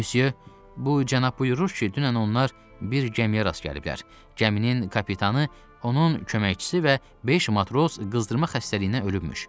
Müsyö, bu cənab buyurur ki, dünən onlar bir gəmiyə rast gəliblər, gəminin kapitanı, onun köməkçisi və beş matros qızdırma xəstəliyindən ölübmüş.